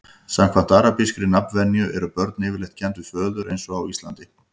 samkvæmt arabískri nafnvenju eru börn yfirleitt kennd við föður eins og á íslandi